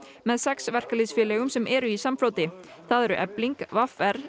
með sex verkalýðsfélögum sem eru í samfloti það eru Efling v r